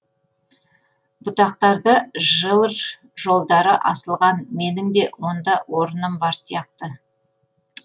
бұтақтарда жыр жолдары асылған менің де онда орыным бар сияқты